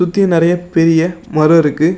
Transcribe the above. சுத்தி நிறைய பெரிய மரம் இருக்கு.